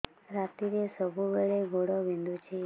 ରାତିରେ ସବୁବେଳେ ଗୋଡ ବିନ୍ଧୁଛି